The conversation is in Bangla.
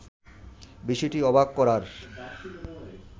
বিষয়টি অবাক করার